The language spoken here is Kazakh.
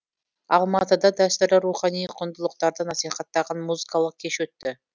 алматыда дәстүрлі рухани құндылықтарды насихаттаған музыкалық кеш өтті